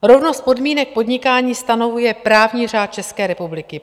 Rovnost podmínek podnikání stanovuje právní řád České republiky.